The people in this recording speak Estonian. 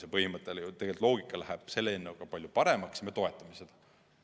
See põhimõte, see loogika läheb kõnealuse eelnõuga palju paremaks ja me toetame seda.